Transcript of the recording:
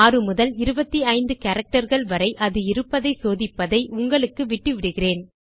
6 முதல் 25 characterகள் வரை அது இருப்பதை சோதிப்பதை உங்களுக்கு விட்டுவிடுகிறேன்